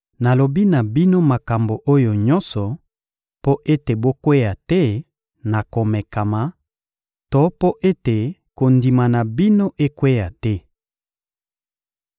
Nalobi na bino makambo oyo nyonso mpo ete bokweya te na komekama to mpo ete kondima na bino ekweya te.